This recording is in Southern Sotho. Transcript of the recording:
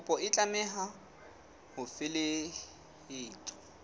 kopo e tlameha ho felehetswa